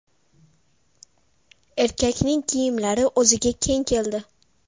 Erkakning kiyimlari o‘ziga keng keldi.